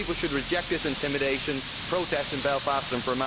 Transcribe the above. People should reject this intimidation, protest in Belfast and Fermanagh.